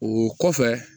O kɔfɛ